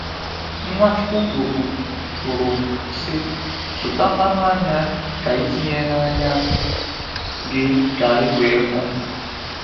Nwachukwu kwuru, kwuru, sị: “zụta mmanụ anya ka ị tinye n’anya gị ka i wee hụ.”